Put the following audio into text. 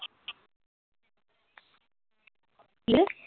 ਕਿਹਦੇ